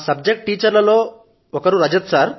మా subject teacher లలో Rajat sir అని ఒకరు ఉన్నారు